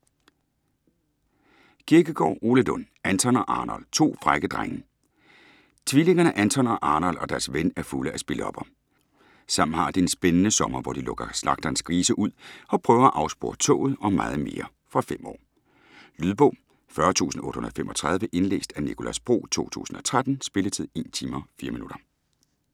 Kirkegaard, Ole Lund: Anton og Arnold - to frække drenge Tvillingerne Anton og Arnold og deres ven er fulde af spillopper. Sammen har de en spændende sommer, hvor de lukker slagterens grise ud og prøver at afspore toget og meget mere. Fra 5 år. Lydbog 40835 Indlæst af Nicolas Bro, 2013. Spilletid: 1 timer, 4 minutter.